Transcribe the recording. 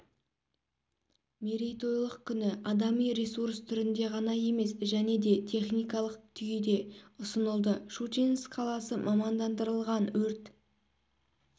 мерейтойлық күні адами ресурс түрінде ғана емес және де техникалық күйде ұсынылды щучинск қаласы мамандандырылған өрт